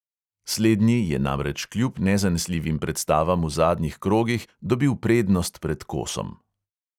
Slednji je namreč kljub nezanesljivim predstavam v zadnjih krogih dobil prednost pred kosom.